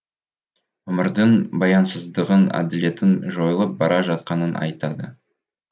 өмірдің баянсыздығын әділетін жойылып бара жатқанын айтады